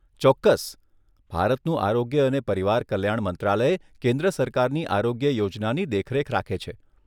ચોક્કસ. ભારતનું આરોગ્ય અને પરિવાર કલ્યાણ મંત્રાલય કેન્દ્ર સરકારની આરોગ્ય યોજનાની દેખરેખ રાખે છે.